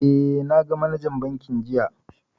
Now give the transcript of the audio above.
Eh, na ga manajan bankin jiya